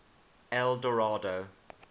eldorado